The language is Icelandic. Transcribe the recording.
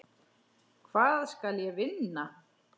Hvað skal ég vinna?